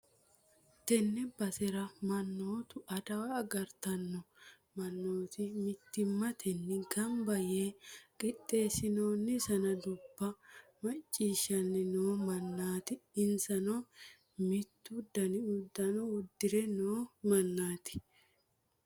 tenne basera mannootu adawa agartanno mannooti mittimmatenni gamba yee qixxeessi'noonni sanadubba macciishshanni noo mannaati, insano mittu dani uddano uddi're no mannaati.